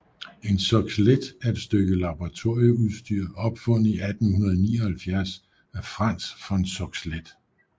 En Soxhlet er et stykke laboratorieudstyr opfundet i 1879 af Franz von Soxhlet